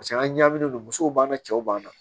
paseke an ɲaaminen don musow b'an na cɛw b'an na